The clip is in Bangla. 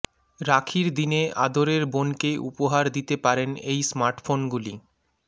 রাখীর দিনে আদরের বোনকে উপহার দিতে পারেন এই স্মার্টফোনগুলি